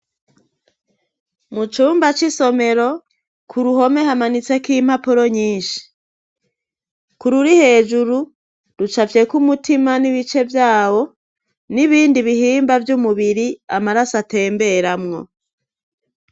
Mucumba c'isomero ku ruhome hamanitse ko'impapuro nyinshi ku ruri hejuru ruca vyeko umutima n'ibice vyawo n'ibindi bihimba vy'umubiri amaraso atemberamwo.